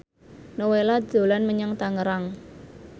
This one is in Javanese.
Nowela dolan menyang Tangerang